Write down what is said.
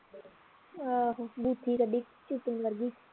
ਆਹੋ ਬੂਥੀ ਕੱਢੀ ਚਿਕਨ ਵਰਗੀ